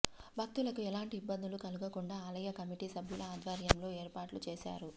భక్తులకు ఎలాంటి ఇబ్బందులు కలుగకుండా ఆలయ కమిటీ సభ్యుల ఆధ్వర్యంలో ఏర్పాట్లు చేశారు